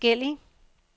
forskellig